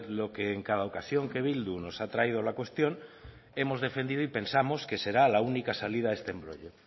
lo que en cada ocasión que bildu nos ha traído la cuestión hemos defendido y pensamos que será la única salida a este embrollo